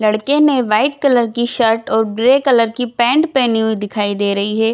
लड़के ने white colour की शर्ट और ग्रे कलर की पेंट पहनी हुई दिखाई दे रही है।